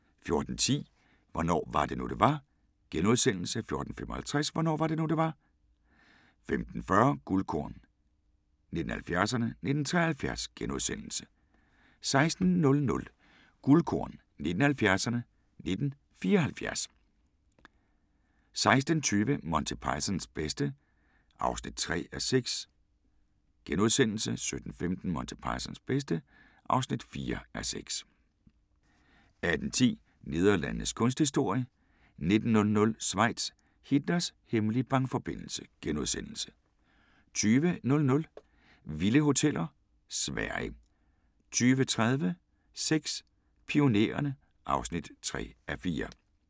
14:10: Hvornår var det nu, det var? * 14:55: Hvornår var det nu, det var? 15:40: Guldkorn 1970'erne: 1973 * 16:00: Guldkorn 1970'erne: 1974 16:20: Monty Pythons bedste (3:6)* 17:15: Monty Pythons bedste (4:6) 18:10: Nederlandenes kunsthistorie * 19:00: Schweiz – Hitlers hemmelige bankforbindelse * 20:00: Vilde hoteller: Sverige 20:30: Sex: Pionererne (3:4)